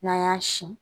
N'an y'a sin